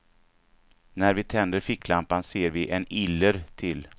När vi tänder ficklampan ser vi en iller till.